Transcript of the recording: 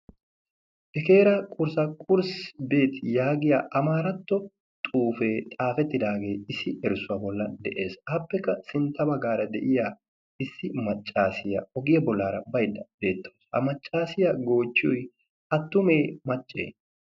hekeera qursa qurssi beet yaagiya amaaratto xuufee xaafettidaagee issi erssuwaa bolla de7ees aappekka sintta baggaara de'iya issi maccaasiyaa ogiya bollaara baydda beettoos ha maccaasiyaa goochchoy attumee macce